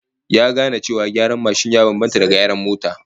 Ya gane cewa gyaran mashin ya bambanta da gyaran mota